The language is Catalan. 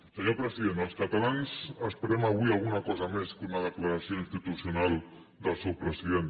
senyor president els catalans esperem avui alguna cosa més que una declaració institucional del seu president